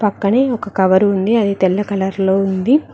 పక్కనే ఒక కవరు ఉంది అది తెల్ల కలర్ లో ఉంది.